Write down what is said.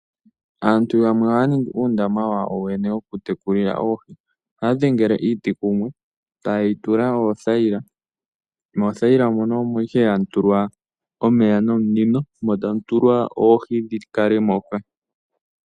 Aantu yamwe ohaya ningi uundama wawo yooyene wokutekula oohi. Ohaya dhengele iiti kumwe , tayeyi tula oothayila. Mothayila mono omo ihe hamu tulwa omeya nominino, mo tamu tulwa oohi dhikale moka